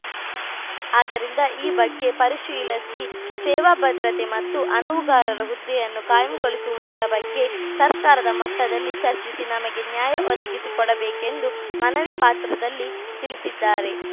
ಆದ್ದರಿಂದ ಈ ಬಗ್ಗೆ ಪರಿಶೀಲಸಿ ಸೇವಾ ಭದ್ರತೆ ಮತ್ತು ಅನುವುಗಾರರ ಹುದ್ದೆಯನ್ನು ಖಾಯಂಗೊಳಿಸುವುದರ ಬಗ್ಗೆ ಸರ್ಕಾರದ ಮಟ್ಟದಲ್ಲಿ ಚರ್ಚಿಸಿ ನಮಗೆ ನ್ಯಾಯ ಒದಗಿಸಿಕೊಡಬೇಕೆಂದು ಮನವಿ ಪಾತ್ರದಲ್ಲಿ ತಿಳಿಸಿದ್ದಾರೆ